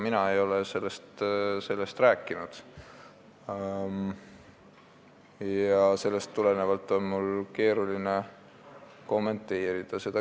Mina ei ole sellest rääkinud ja sellepärast on mul seda keeruline kommenteerida.